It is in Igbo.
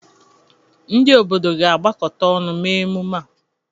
Ndị obodo ga-agbakọta ọnụ mee emume a.